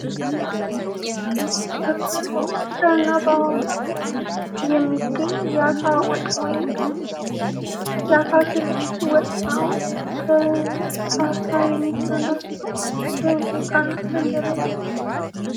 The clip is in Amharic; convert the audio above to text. በብዛት በባህር ዳር እና በሀዋሳ የሚገኝ የአሳ ስልስ ወጥ ነው ።ከአሳ የሚሰራ ሲሆን በሚጥሚጣና በእንጀራ ይበላል።